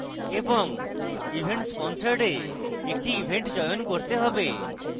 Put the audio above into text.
এবং events sponsored we একটি event চয়ন করতে have